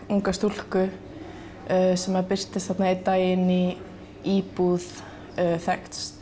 unga stúlku sem birtist einn daginn í íbúð þekkts